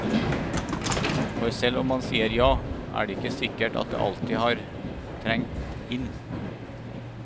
For selv om man sier ja, er det ikke sikkert at det alltid har trengt inn.